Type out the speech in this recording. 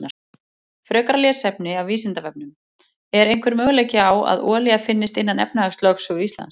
Frekara lesefni af Vísindavefnum: Er einhver möguleiki á að olía finnist innan efnahagslögsögu Íslands?